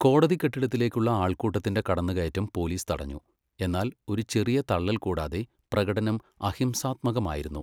കോടതി കെട്ടിടത്തിലേക്കുള്ള ആൾക്കൂട്ടത്തിന്റെ കടന്നുകയറ്റം പോലീസ് തടഞ്ഞു, എന്നാൽ ഒരു ചെറിയ തള്ളൽ കൂടാതെ, പ്രകടനം അഹിംസാത്മകമായിരുന്നു.